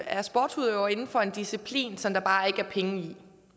er sportsudøver inden for en disciplin som der bare ikke er penge i